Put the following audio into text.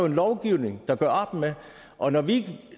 en lovgivning der gør op med og når vi